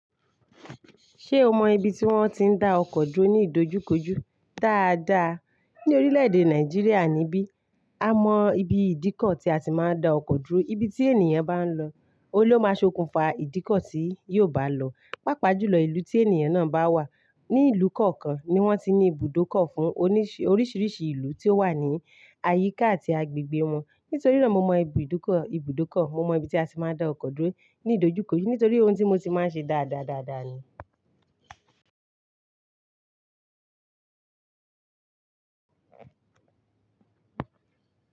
Ṣé o mọ ibi tí wón ti ń dá ọkọ̀ dúró ní ìdojúkojú dáadáa? Ní orílẹ̀ èdè Nàìjíríà níbí, a mọ ibi ìdíkọ̀ tí a ti máa ń dá ọkọ̀ dúró, ibi tí ènìyàn bá ń lọ, ó ló máa ṣokùnfà ìdíkọ̀ tí yìí ó bá lọ, pàápàá jù lọ ìlú tí ènìyàn náà bá wà. Ní ìlú kọ̀ọ̀kan ni wón ti ní ibùdókọ̀ fún oríṣìíríṣìí ìlú tí ó wà ní àyíká àti agbègbè wọn. Nítorí náà mo mọ ibùdókọ̀, mo mọ ibi tí a ti máa ń dá ọkọ̀ dúró ní ìdojúkojú nítorí ohun tí mo ti máa ń ṣe dáadáa dáadáa ni.